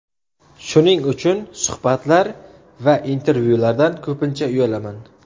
Shuning uchun suhbatlar va intervyulardan ko‘pincha uyalaman.